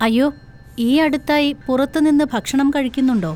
അയ്യോ, ഈ അടുത്തായി പുറത്തുനിന്ന് ഭക്ഷണം കഴിക്കുന്നുണ്ടോ?